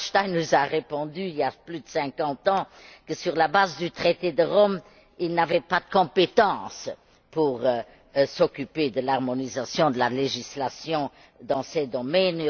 Hallstein nous a répondu, il y plus de cinquante ans, que, sur la base du traité de Rome, il n'avait pas de compétence pour s'occuper de l'harmonisation de la législation dans ces domaines.